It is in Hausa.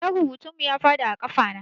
Allon rubutun mu ya faɗi a ƙafa na